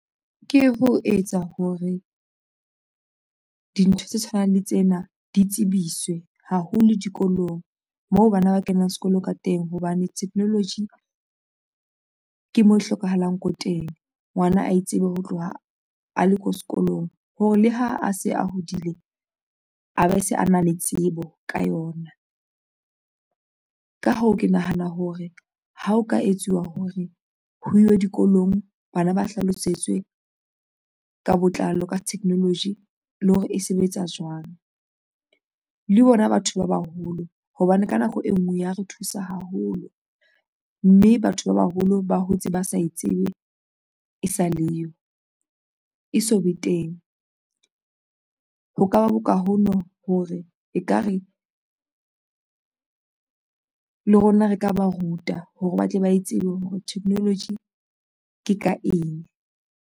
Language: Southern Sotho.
Ke ho etsa hore dintho tse tshwanang le tsena di tsebiswe haholo dikolong moo bana ba kenang sekolo ka teng. Hobane technology ke moo hlokahalang ko teng, ngwana a tsebe ho tloha a le ko sekolong hore le ha a se a hodile a be se a na le tsebo ka yona. Ka hoo, ke nahana hore ha o ka etsuwa hore ho ilwe dikolong. Bana ba hlalosetse ka botlalo ka technology le hore e sebetsa jwang. Le bona batho ba baholo hobane ka nako e nngwe ya re thusa haholo mme batho ba baholo ba hotse ba sa e tsebe e sa le yo e so be teng, ho ka ba boka hono hore ekare le rona re ka ba ruta hore ba tle ba tsebe hore technology ke ka eng.